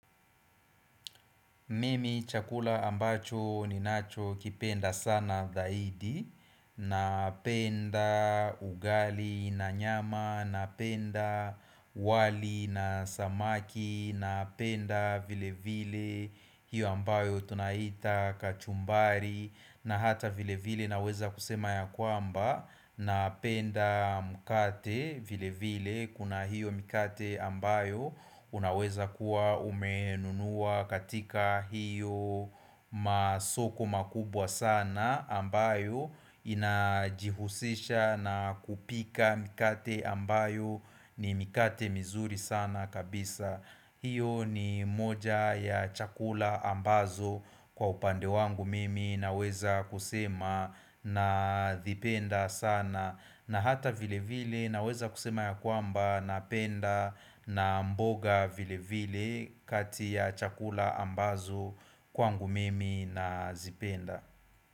Mimi chakula ambacho ni nacho kipenda sana zaidi Napenda ugali na nyama, napenda wali na samaki, napenda vile vile hiyo ambayo tunaita kachumbari na hata vile vile naweza kusema ya kwamba napenda mkate vile vile kuna hiyo mkate ambayo unaweza kuwa umenunua katika hiyo masoko makubwa sana ambayo inajihusisha na kupika mkate ambayo ni mkate mizuri sana kabisa. Hiyo ni moja ya chakula ambazo kwa upande wangu mimi naweza kusema nazipenda sana na hata vile vile naweza kusema ya kwamba napenda na mboga vile vile kati ya chakula ambazo kwangu mimi nazipenda.